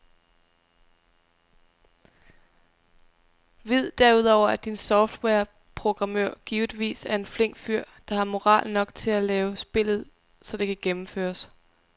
Vid derudover at din softwareprogrammør givetvis er en flink fyr der har moral nok til at lave spillet så det kan gennemføres.